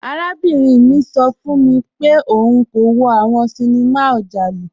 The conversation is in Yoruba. Arábìnrin mi sọ fun mi pẹ̀lú ọun kò wò awọn ṣíníma ọjàlù.